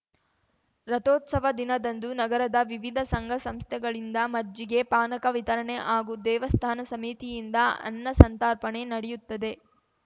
ರಥೋತ್ಸವ ದಿನದಂದು ನಗರದ ವಿವಿಧ ಸಂಘಸಂಸ್ಥೆಗಳಿಂದ ಮಜ್ಜಿಗೆ ಪಾನಕ ವಿತರಣೆ ಹಾಗೂ ದೇವಸ್ಥಾನ ಸಮಿತಿಯಿಂದ ಅನ್ನ ಸಂತರ್ಪಣೆ ನಡೆಯುತ್ತದೆ